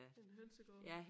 En hønsegård